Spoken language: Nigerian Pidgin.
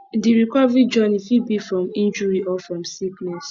di recovery journey fit be from injury or from sickness